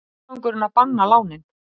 Tilgangurinn að banna lánin